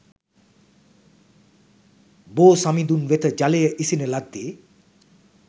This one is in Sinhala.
බෝ සමිඳුන් වෙත ජලය ඉසින ලද්දේ